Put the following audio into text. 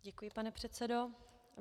Děkuji, pane předsedo.